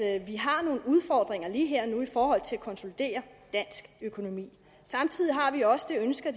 at vi har nogle udfordringer lige her og nu i forhold til at konsolidere dansk økonomi samtidig har vi også det ønske at